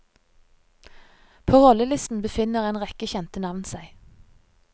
På rollelisten befinner en rekke kjente navn seg.